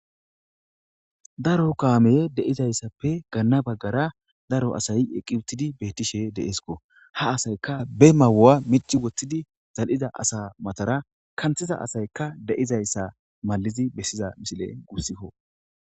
Daro kaameye deizayssappe ganna baggara daro asayi eqqi uttidi beettishe deeeskko ha asayka be mawu'a mici woththidi zal'iza asa matara kanthiza asaykka de'izayssa malizi bessiza misile guussikko.